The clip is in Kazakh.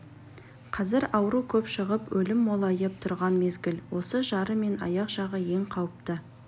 қазір ауру көп шығып өлім молайып тұрған мезгіл осы жары мен аяқ жағы ең қауіпті